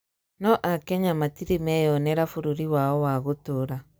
no akenya matire meyonera bũrũri wao wa gũtũra